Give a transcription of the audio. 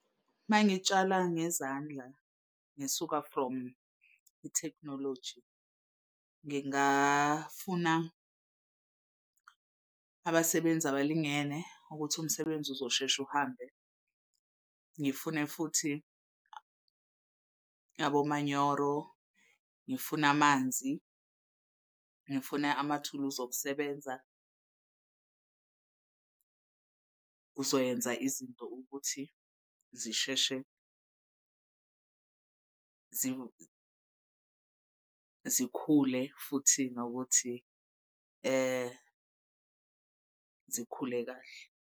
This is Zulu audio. Uma ngitshala ngezandla ngisuka from ithekhinoloji, ngingafuna abasebenzi abalingene ukuthi umsebenzi uzoshesha uhambe. Ngifune futhi abomanyoro, ngifune amanzi, ngifune amathuluzi okusebenza. Kuzoyenza izinto ukuthi zisheshe zikhule futhi nokuthi zikhule kahle.